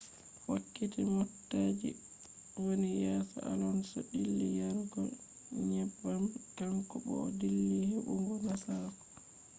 wakkati motaji wani yeso alonso dilli yarugo neybbam, kanko bu o dilli hebugo nasaraku